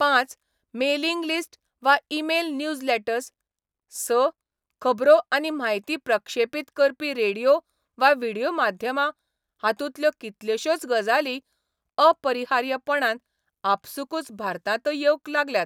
पांच, mailing list वा email newsletters, स, खबरो आनी म्हायती प्रक्षेपीत करपी रेडियो वा व्हिडियो माध्यमां हातूंतल्यो कितल्योश्योच गजाली अपरिहार्यपणान आपसूकच भारतांतय येवंक लागल्यात.